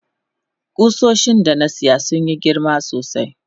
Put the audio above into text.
kusoshin da na siya sun Yi girma sosai.